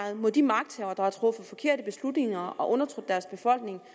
mod de magthavere der har truffet forkerte beslutninger og undertrykt deres befolkning